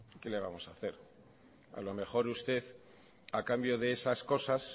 que le vamos a hacer a lo mejor usted a cambio de esas cosas